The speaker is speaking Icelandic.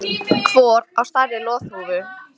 Hvor á stærri loðhúfu